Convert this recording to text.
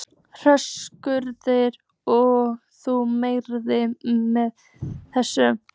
Höskuldur: Og þú mælir með þessu?